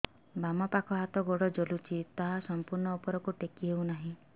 ବାମପାଖ ହାତ ଗୋଡ଼ ଜଳୁଛି ହାତ ସଂପୂର୍ଣ୍ଣ ଉପରକୁ ଟେକି ହେଉନାହିଁ